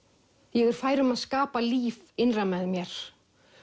ég er fær um að skapa líf innra með mér